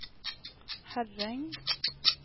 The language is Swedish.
Herräng